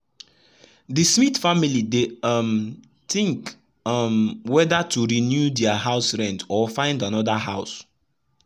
the smith family dey um think um weather to renew their house rent or find another house.